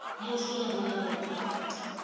musumbhunuku